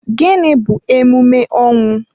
Gịnị bu emume ọnwụ?